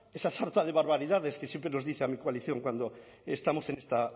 esa sarta de barbaridades que siempre nos dice a mi coalición cuando estamos en esta